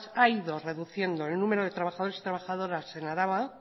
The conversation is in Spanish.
ha ido reduciendo el número de trabajadores y trabajadoras en araba